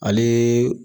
Ale